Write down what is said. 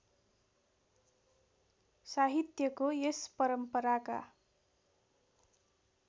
साहित्यको यस परम्पराका